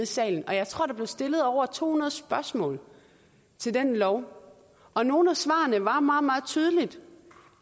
salen og jeg tror der blev stillet over to hundrede spørgsmål til den lov og nogle af svarene var meget tydelige